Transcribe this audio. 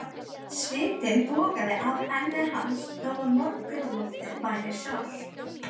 Svitinn bogaði af enni hans þó að morgunloftið væri svalt.